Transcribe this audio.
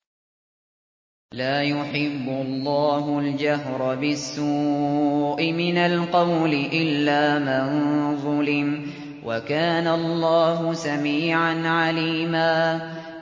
۞ لَّا يُحِبُّ اللَّهُ الْجَهْرَ بِالسُّوءِ مِنَ الْقَوْلِ إِلَّا مَن ظُلِمَ ۚ وَكَانَ اللَّهُ سَمِيعًا عَلِيمًا